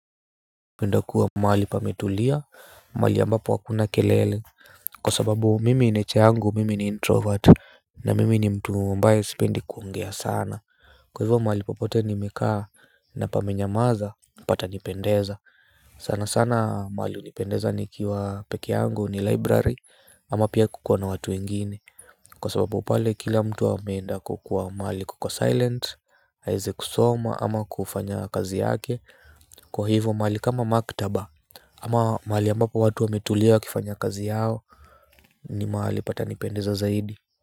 Mi hupenda kuwa mahali pametulia, mahali ambapo hakuna kelele. Kwa sababu mimi nature yangu, mimi ni introvert. Na mimi ni mtu ambaye sipendi kuongea sana. Kwa hivyo mahali popote nimekaa na pamenyamaza, patanipendeza. Sana sana mahali hunipendeza nikiwa peke yangu ni library ama pia kuko na watu wengine. Kwa sababu pale kila mtu ameenda kukuwa mahali kuko silent, aeze kusoma ama kufanya kazi yake. Kwa hivyo mahali kama maktaba ama mahali ambapo watu wametulia wakifanya kazi yao. Ni mahali patanipendeza zaidi.